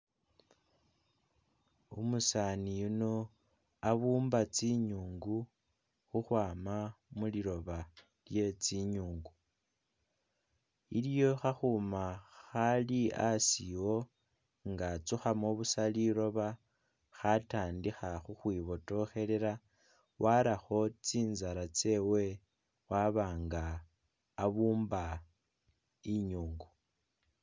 umusaani yuno abumba tsi'nyungu huhwama muliloba lye tsi'nyungu, iliyo hahuma hali asi wo nga atsuhamo busa liroba hatandiha huhwi botohelela, waraho tsinzala tsewe waba nga abumba inyungu